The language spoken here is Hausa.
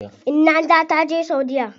Inna ta taje saudiya.